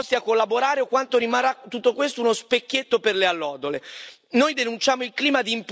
Staremo a vedere quanto saranno disposti a collaborare o quanto rimarrà uno specchietto per le allodole.